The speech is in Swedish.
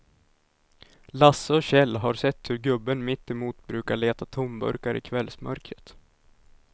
Lasse och Kjell har sett hur gubben mittemot brukar leta tomburkar i kvällsmörkret.